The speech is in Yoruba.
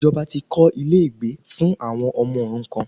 Ìjọba ti kọ́ ilé ìgbé fún àwọn ọmọ òrukan